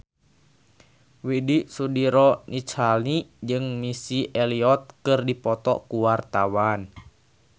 Widy Soediro Nichlany jeung Missy Elliott keur dipoto ku wartawan